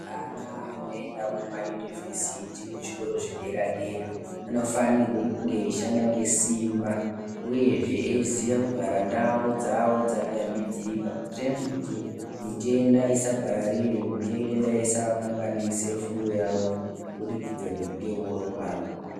Ana anoenda kumayunivhesiti kuzvikoro zvedera dera anofanirwa kunge veishanda ngesimba uyezve eiziya kugara ndau dzawo dzakayambidzika kutene kuti mitenda isapararire mitenda isakanganise fundo yawo kubudikidza nekunge vorwara.